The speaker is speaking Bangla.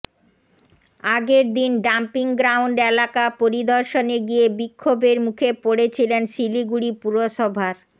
আগের দিন ডাম্পিং গ্রাউন্ড এলাকা পরিদর্শনে গিয়ে বিক্ষোভের মুখে পড়েছিলেন শিলিগুড়ি পুরসভার